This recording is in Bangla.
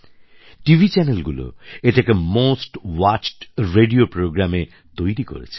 টিভি চ্যানেলগুলো এটাকে মোস্ট ওয়াচড রেডিও programmeএ তৈরি করেছে